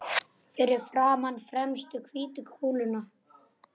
Fyrir framan fremstu hvítu kúluna.